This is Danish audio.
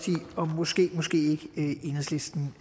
måske måske ikke enhedslisten